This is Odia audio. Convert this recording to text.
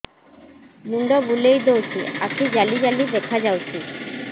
ମୁଣ୍ଡ ବୁଲେଇ ଦଉଚି ଆଖି ଜାଲି ଜାଲି ଦେଖା ଯାଉଚି